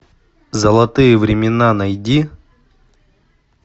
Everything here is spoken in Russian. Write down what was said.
золотые времена найди